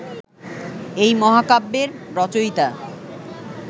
এই মহাকাব্যের রচয়িতা